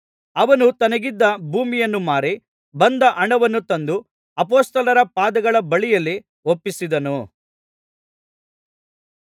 ಅವನು ತನಗಿದ್ದ ಭೂಮಿಯನ್ನು ಮಾರಿ ಬಂದ ಹಣವನ್ನು ತಂದು ಅಪೊಸ್ತಲರ ಪಾದಗಳ ಬಳಿಯಲ್ಲಿ ಒಪ್ಪಿಸಿದನು